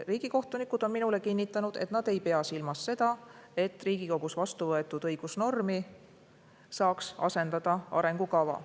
Riigikohtunikud on minule kinnitanud, et nad ei pea silmas seda, et Riigikogus vastu võetud õigusnormi saaks asendada arengukava.